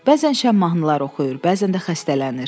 Bəzən şəhər mahnıları oxuyur, bəzən də xəstələnir.